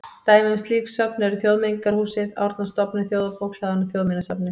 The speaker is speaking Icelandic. Dæmi um slík söfn eru Þjóðmenningarhúsið, Árnastofnun, Þjóðarbókhlaðan og Þjóðminjasafnið.